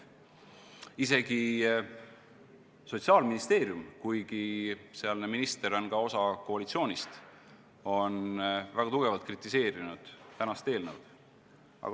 Isegi Sotsiaalministeerium, kuigi sealne minister on ka osa koalitsioonist, on väga tugevalt eelnõu kritiseerinud.